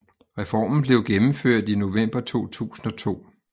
Reformen blev gennemført i november 2002